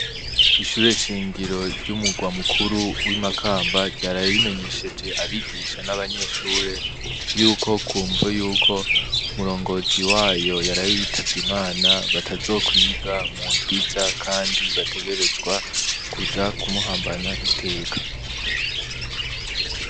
Ishure shingiro ry'umurwa mukuru w'i Makamba ryaraye rimenyesheje abigisha n'abanyeshure yuko ku mvo yuko umurongozi wayo yaraye yitavye Imana batazokwiga mu ndwi iza, kandi bategerezwa kuja kumuhambana iteka.